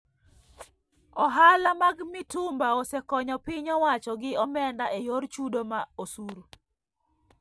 Ohala mag mitumba osekonyo piny owacho gi omenda e yor chudo mar osuru